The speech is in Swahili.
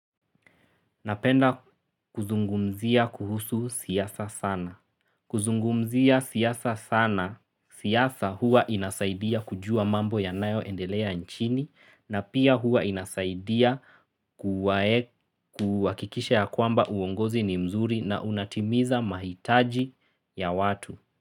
Napenda kuzungumzia kuhusu siyasa sana. Kuzungumzia siasa sana. Siasa hua inasaidia kujua mambo ya nayo endelea nchini na pia hua inasaidia kuwakikisha ya kwamba uongozi ni mzuri na unatimiza mahitaji ya watu.